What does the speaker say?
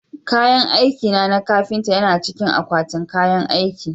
Kayan aikina na kafinta yana cikin akwatin kayan aiki